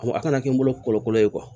A kana kɛ n bolo kɔlɔkolo ye